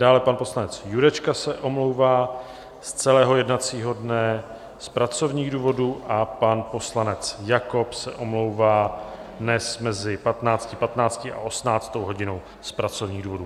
Dále pan poslanec Jurečka se omlouvá z celého jednacího dne z pracovních důvodů a pan poslanec Jakob se omlouvá dnes mezi 15.15 a 18. hodinou z pracovních důvodů.